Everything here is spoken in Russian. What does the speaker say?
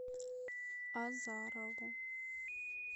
азарову